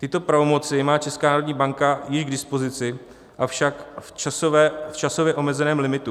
Tyto pravomoci má Česká národní banka již k dispozici, avšak v časově omezeném limitu.